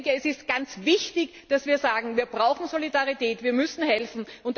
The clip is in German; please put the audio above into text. Es ist ganz wichtig, dass wir sagen, wir brauchen Solidarität, wir müssen helfen.